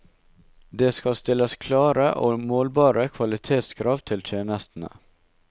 Det skal stilles klare og målbare kvalitetskrav til tjenestene.